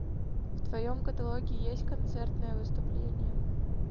в твоем каталоге есть концертное выступление